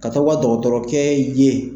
Ka to ka dɔgɔtɔrɔkɛ ye